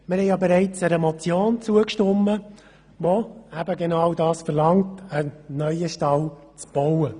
Wir haben bereits einer Motion zugestimmt, die genau das verlangt, nämlich einen neuen Stall zu bauen.